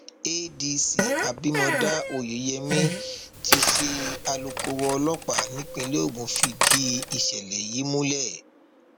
adc abimodá oyeyèmí tí í ṣe alūkkoro ọlọpàá nípìnlẹ ogun fìdí ìṣẹlẹ yìí múlẹ